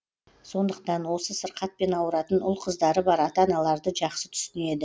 сондықтан осы сырқатпен ауыратын ұл қыздары бар ата аналарды жақсы түсінеді